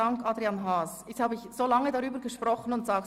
– Das ist nicht der Fall.